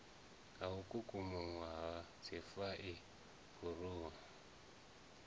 na u kukumuwa ha dzifaiburoni